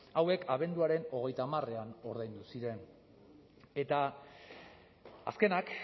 hauek abenduaren hogeita hamarrean ordaindu ziren eta azkenak